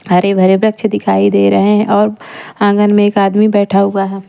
हरे भरे वृक्ष दिखाई दे रहे हैं और आंगन में एक आदमी बैठा हुआ है।